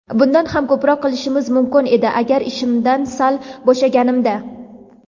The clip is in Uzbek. Bundan ham ko‘proq qilishim mumkin edi agar ishimdan sal bo‘shaganimda.